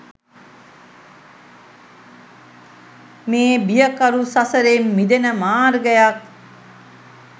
මේ බියකරු සසරෙන් මිදෙන මාර්ගයක්